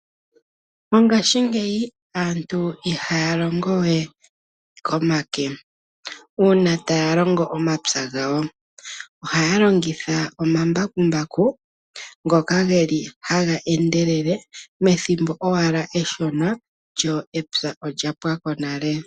Mongashingeyi aantu ihaya longo we komake una taya longo omapya gawo, ohaya longitha omambakumbaku ngoka haga endelele methimbo owala eshona lyo epya olya pwako nale.